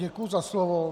Děkuji za slovo.